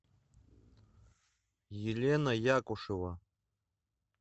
елена якушева